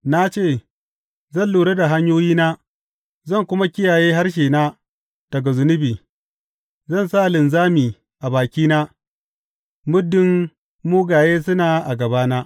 Na ce, Zan lura da hanyoyina zan kuma kiyaye harshena daga zunubi; zan sa linzami a bakina muddin mugaye suna a gabana.